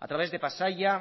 a través de pasaia